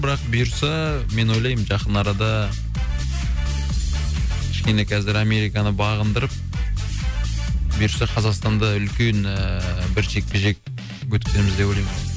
бірақ бұйырса мен ойлаймын жақын арада кішкене қазір американы бағындырып бұйырса қазақстанда үлкен ііі бір жекпе жек өткіземіз деп ойлаймын